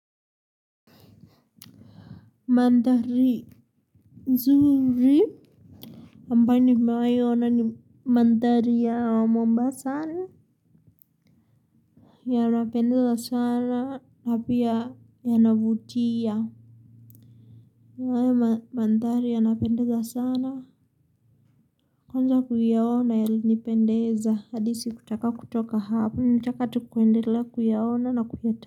Maandhari nzuri ambayo nimewahi ona ni maandhari ya Mombasa yanapendeza sana na pia yanavutia hayo maandhari yanapendaza sana kwanza kuyaona yalinipendeza hadi sikutaka kutoka hapo nilitaka tu kuendelea kuyaona na kuyaona.